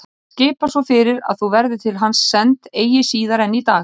Hann skipar svo fyrir að þú verðir til hans send eigi síðar en í dag.